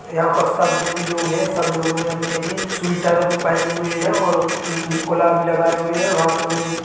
यहाँ पर सब देवी लोग है सब लोगों ने अपनी अपनी स्वेटर पहनी हुई है और-अ अ कोला भी लगाए हुए है हाथों मे--